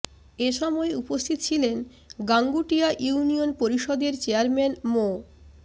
এ সময় উপস্থিত ছিলেন গাঙ্গুটিয়া ইউনিয়ন পরিষদের চেয়ারম্যান মো